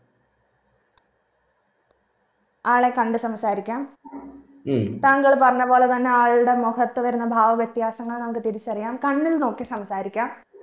ആളെ കണ്ട് സംസാരിക്കാം താങ്കൾ പറഞ്ഞ പോലെ തന്നെ ആൾടെ മുഖത്ത് വരുന്ന ഭാവവ്യത്യാസങ്ങൾ നമുക്ക് തിരിച്ചറിയാം കണ്ണിൽ നോക്കി സാംസ്‌കാരിക്ക